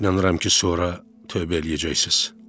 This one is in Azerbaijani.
İnanıram ki, sonra tövbə eləyəcəksiz.